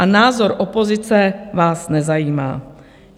A názor opozice vás nezajímá.